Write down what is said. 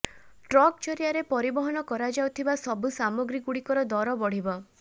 truck ଜରିଆରେ ପରିବହନ କରାଯାଉଥିବା ସବୁ ସାମଗ୍ରୀଗୁଡ଼ିକର ଦର ବଢ଼ିବ